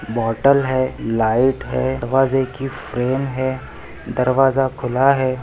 बोतल है लाइट है दरवाज़े कि फ्रेम है दरवाजा खुला हैं।